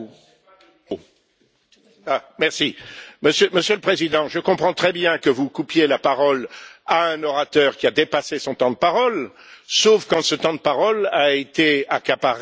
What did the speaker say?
Monsieur le Président, je comprends très bien que vous coupiez la parole à un orateur qui a dépassé son temps de parole, sauf quand ce temps de parole est accaparé par un certain nombre d'intervenants